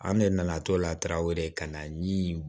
An ne nana to la tarawo de ka na ni